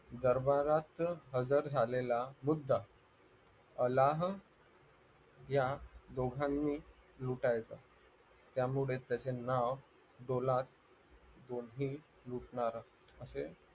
दरबारात हजर झालेला वृद्ध अल्लाह या दोघांनी लुटायचं त्यामुळे त्याचे नाव पोलाद असे